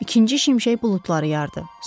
İkinci şimşək buludları yardı.